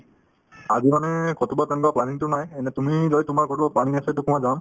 আজি মানে ক'ৰবাত যোৱাৰ planning তো নাই এনে তুমি যদি তোমাৰ কোনো planning আছে to মই যাম